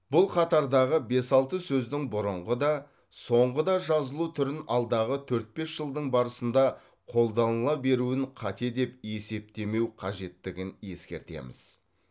бұл қатардағы бес алты сөздің бұрынғы да соңғы да жазылу түрін алдағы төрт бес жылдың барысында қолданыла беруін қате деп есептемеу қажеттігін ескертеміз